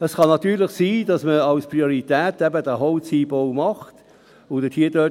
Es kann natürlich sein, dass man als Priorität eben diesen Holzeinbau macht und dort das Käferholz verwendet.